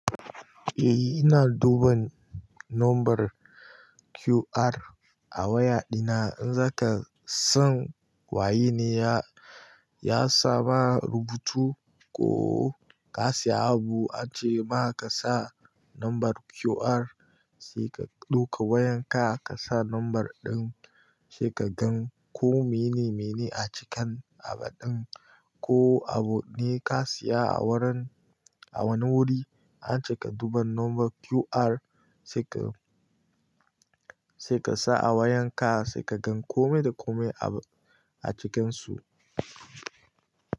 Eh, ina duban nombar QR a waya dina. In zaka san waye ne ya, ya sa ma rubutu ko ka siya abu ace ba ka sa nombar QR, sai ka ɗauka wayan ka ka sa nombar ɗin, sai ka gan ko mene mene a cikin abu ɗin. Ko abu ne ka siya a wurin, a wani wuri, ace ka duban nombar QR sai ka, sai ka sa a wayan ka sai ka gan komai da komai a cikinsu.